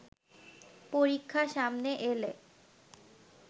পরীক্ষা সামনে এলে